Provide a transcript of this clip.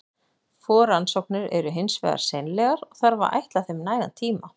Forrannsóknir eru hins vegar seinlegar, og þarf að ætla þeim nægan tíma.